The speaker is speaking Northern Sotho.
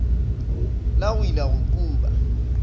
la go ila go kuba